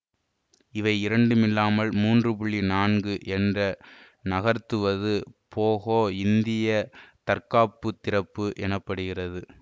இவை இரண்டுமில்லாமல் மூன்று நான்கு என்று நகர்த்துவது போகோ இந்திய தற்காப்பு திறப்பு எனப்படுகிறது